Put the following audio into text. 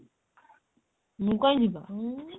ମୁଁ କାଇଁ ଯିବି ବା ଉଁ